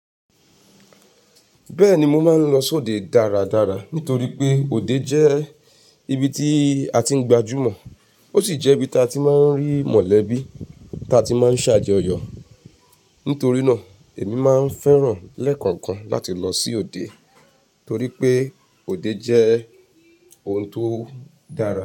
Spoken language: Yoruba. Bẹ́ẹ̀ni, mo máa ń lọ s'òde dáradára nítorí pé òde jẹ́ ibi tí a ti ń gbajúmọ̀, ó sì jẹ́ ibi ta ti máa ń rí mọ̀lẹ́bí ta ti máa ń ṣàjọyọ̀. Nítorínáà èmi máa ń fẹ́ràn lẹ́ẹ̀kọ̀ọ̀kan láti lọ sí òde torí pé òde jẹ́e ohun tó dára.